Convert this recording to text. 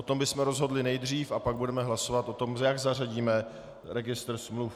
O tom bychom rozhodli nejdřív a pak budeme hlasovat o tom, jak zařadíme registr smluv.